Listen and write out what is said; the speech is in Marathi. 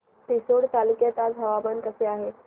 रिसोड तालुक्यात आज हवामान कसे आहे